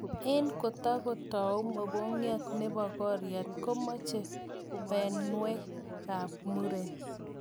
eng kotokotau mogongiat nebo koriat komeche pineywek ab muren